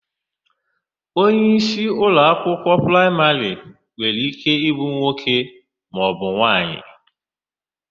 Onyeisi ụlọakwụkwọ praịmarị nwere íké ịbụ nwoke maọbụ nwaanyị.